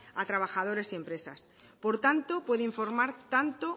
a trabajadores y empresas por tanto puede informar tanto